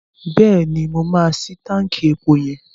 Bẹ́ẹ̀ni, mo máa ṣí táǹkì epo yẹn.